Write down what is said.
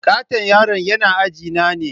Katton yaron yana ajina ne.